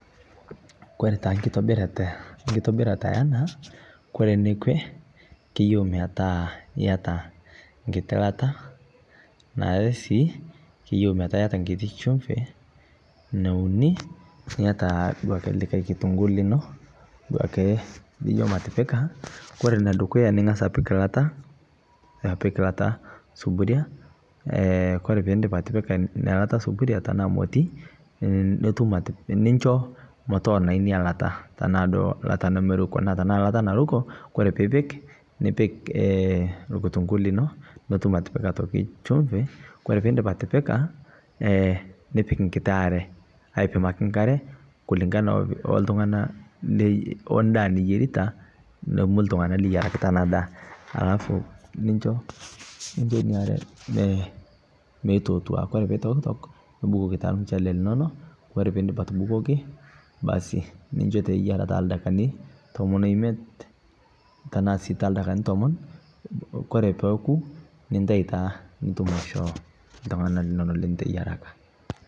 Kore taa nkitobirata yanaa Kore nekwee keyeu metaa iata nkitii lataa naare sii keyeu metaa iata nkiti shumpii nounii iata duake likai kitunguu linoo duake lijo matipikaa Kore nedukuya ningas apik lataa suburia Kore piindip atipika inia lata suburia tanaa motii ninshoo motoonai inia lataa tanaa duo lataa nemeruko tanaa lata naruko Kore piipik nipik lkutunguu linoo piitum otoki atipika chumvi Kore piindip atipika nipik nkitii aree aipimakii nkaree kulee kulingana oltungana ondaa niyerita o nomuu ltungana liyarakitaa ana daa alafu ninsho inia aree meitootua Kore peitoktok nubukokii taa lmuchele linono Kore piindip atubukokii basii ninsho taa eyaraa taldakikani tomon oimet tanaa sii taldakikani tomon Kore pooku nintai nitum aishoo ltungana linono liteyataka